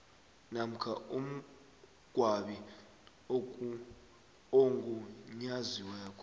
namkha umngcwabi ogunyaziweko